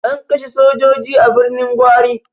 An kashe sojoji a Birnin Gwari.